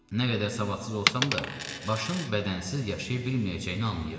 Nə qədər savadsız olsam da, başın bədənsiz yaşaya bilməyəcəyini anlayıram.